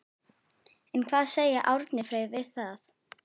En hvað segir Árni Freyr við því?